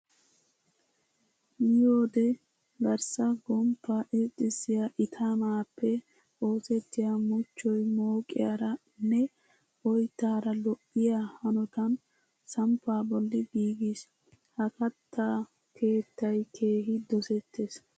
Miyoode garssa gomppaa irxxissiya itimaappe oosettiya muchchoy mooqiyara nne oyttaara lo'iya hanotan samppaa bolli giigis. Ha katta keettay keehi dosettees.